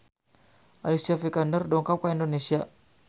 Alicia Vikander dongkap ka Indonesia